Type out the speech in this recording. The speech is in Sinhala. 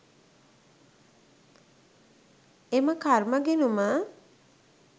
එම කර්ම ගිණුම